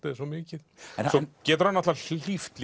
eð er svo mikið svo getur hann hlíft